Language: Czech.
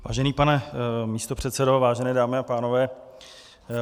Vážený pane místopředsedo, vážené dámy a pánové.